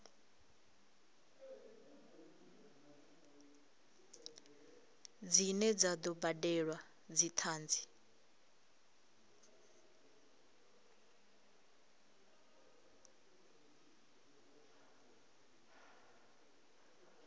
dzine dza do badelwa dzithanzi